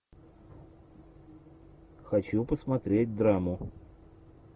хочу посмотреть драму